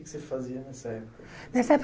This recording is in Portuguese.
O que você fazia nessa época? Nessa época